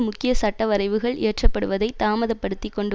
முக்கிய சட்டவரைவுகள் இயற்றப்படுவதை தாமதப் படுத்தி கொண்டு